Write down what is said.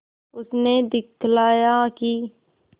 उसने दिखलाया कि